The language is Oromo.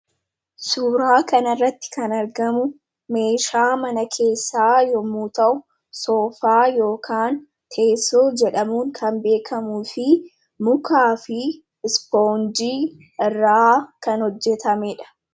Suuraa kanarratti kan argamu meeshaa mana keessaa yommuu ta'u, soofaa yookaan teessoo jedhamuun kan beekkamu fi mukaafi ispoonjiin irraa kan hojjatamedha.